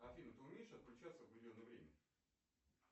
афина ты умеешь отключаться в определенное время